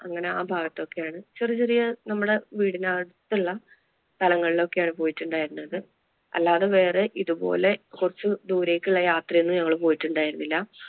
അങ്ങനെ ആ ഭാഗത്തൊക്കെ ആണ് ചെറിയ ചെറിയ നമ്മുടെ വീടിനടുത്തുള്ള സ്ഥലങ്ങളിൽ ഒക്കെ ആണ് പോയിട്ടുണ്ടായിരുന്നത്. അല്ലാതെ വേറെ ഇതുപോലെ കുറച്ചു ദൂരേക്ക് ഉള്ള യാത്ര ഒന്നും ഞങ്ങള് പോയിട്ടുണ്ടായിരുന്നില്ല.